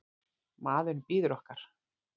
Maðurinn bíður okkar.